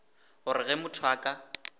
gore ge motho a ka